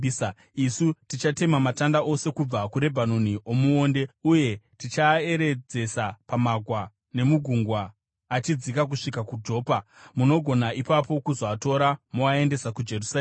isu tichatema matanda ose kubva kuRebhanoni omuonde uye tichaaeredzesa pamagwa nemugungwa achidzika kusvika kuJopa. Munogona ipapo kuzoatora moaendesa kuJerusarema.”